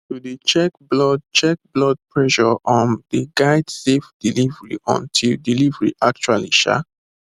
to dey check blood check blood pressure um dey guide safe delivery until delivery actually um